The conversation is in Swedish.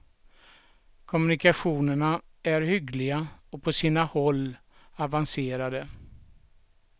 Kommunikationerna är hyggliga och på sina håll avancerade.